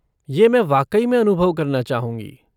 ये मैं वाक़ई में अनुभव करना चाहूँगी।